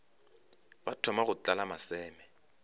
ba thoma go tlala maseme